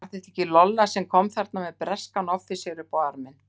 Var þetta ekki Lolla sem kom þarna með breskan offísera upp á arminn?